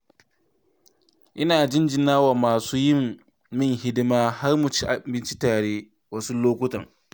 Ina jinjina wa masu yi min hidima har mu ci abinci tare wasu lokutan.